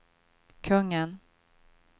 kungen